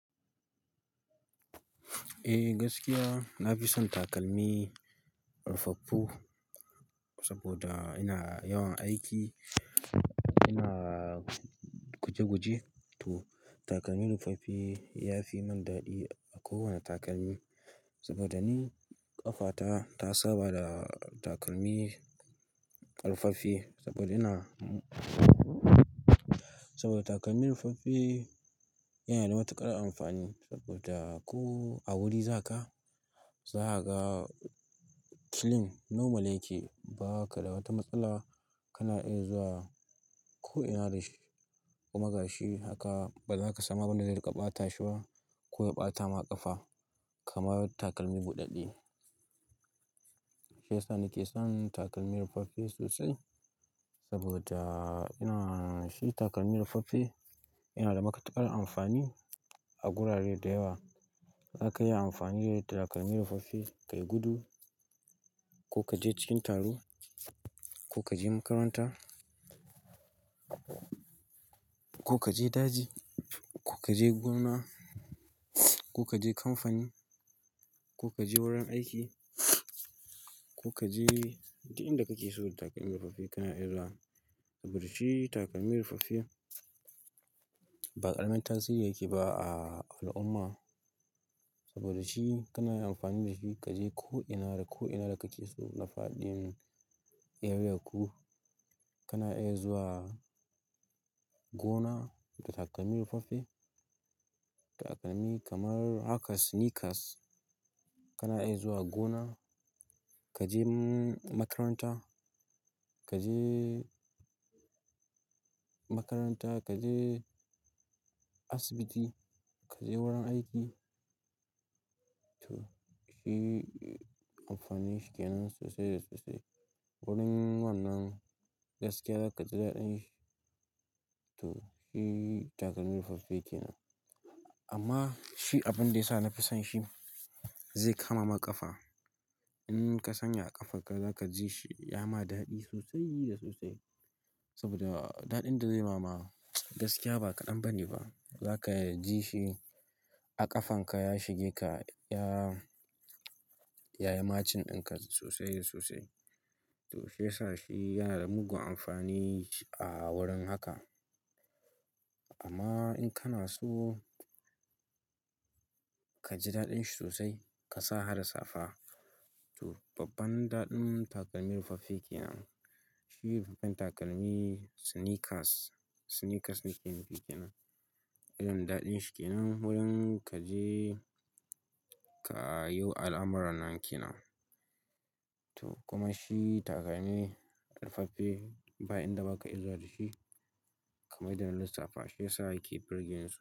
Eh gaskiya, na fi son takalmi rufaffu saboda ina yawan aiki. Ina guje-guje, to takalmi rufaffi ya fi mun dadi a kowane takalmi saboda ni ƙafata ta saba da takalmi rufaffi saboda ina saboda takalmi rufaffi yana da matuƙar amfani, saboda ko wani wuri za ka, za ka ga kilin normal yake ba ka da wata matsala. Ka na iya zuwa ko ina da shi, kuma ga shi haka ba za ka samu abin da zai riƙa ɓata shi ba ko ya ɓata ma ƙafa kamar takalmi buɗaɗɗe. Shi ya sa nake son takalmi rufaffe sosai saboda ina shi takalmi rufaffe yana da matuƙar amfani a gurare da yawa. Za ka iya amfani da takalmi rufaffe ka yi gudu, ko ka je cikin taro, ko ka je makaranta, ko ka je daji, ko ka je gona, ko ka je kamfani, ko ka je wurin aiki, ko ka je duk inda kake so da takalmi rufaffe kana iya zuwa saboda shi takalmi rufaffe ba ƙaramin tasiri yake ba a al'umma. Saboda shi kana iya amfani da shi ka je ko ina da ko ina da kake so na faɗin eriyarku. Kana iya zuwa gona da takalmi rufaffi. Takalmi kamar haka sneakers kana iya zuwa gona, ka je makaranta, ka je makaranta, ka je asibiti, ka je wurin aiki. To shi amfani shi ke nan sosai da sosai. Wurin wannan gaskiya za ka ji daɗin shi. To shi takalmi rufaffe ke nan. Amma, shi abin da yasa nafi son shi zai kama ma ƙafa. In ka sanya a ƙafarka za ka ji shi ya ma daɗi sosai da sosai saboda daɗin da zai ma ma gaskiya ba ka dan bani ba. Za ka ji shi a ƙafanka ya shige ka, ya, ya yi machin ɗin ka sosai da sosai. To, shi ya sa shi yana da mugun amfani a wurin haka. Amma in kana so ka ji daɗin shi sosai, ka sa harda safa. To babban daɗin takalmi rufaffe ke nan. Shi babban takalmi sneakers, sneakers nike ke nan. Irin daɗin shi kenan wurin kaje kayo al'amuran nan kenan to kuma shi takalmi rufaffe ba inda ba ka iya zuwa da shi kamar yadda na lissafa. Shi ya sa yake burgeni.